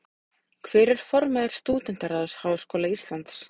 Hver er formaður Stúdentaráðs Háskóla Íslands?